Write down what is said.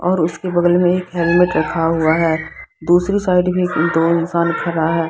और उसके बगल मे एक हेल्मेट रखा हुआ है दूसरी साइड मे दो इंसान खड़ा है।